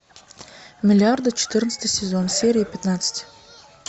миллиарды четырнадцатый сезон серия пятнадцать